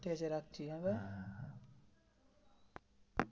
ঠিক আছে রাখছি হা ভাই. হ্যা